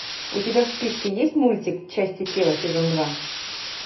у тебя в списке есть мультик части тела сезон два